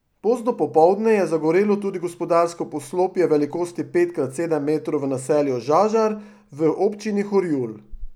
Pozno popoldne je zagorelo tudi gospodarsko poslopje velikosti pet krat sedem metrov v naselju Žažar v občini Horjul.